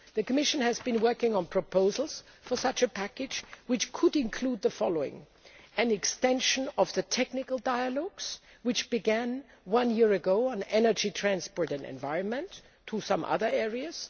The Commission has been working on proposals for such a package, which could include the following an extension of the technical dialogues which began a year ago, on energy, transport and environment to other areas